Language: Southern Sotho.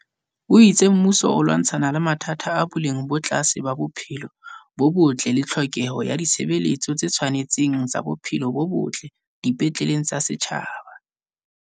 O itse mmuso o lwantshana le mathata a boleng bo tlase ba bophelo bo botle le tlhokeho ya ditshebeletso tse tshwane tseng tsa bophelo bo botle di petleleng tsa setjhaba.